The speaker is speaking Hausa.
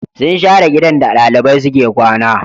Sun share gidan da ɗalibai suke kwana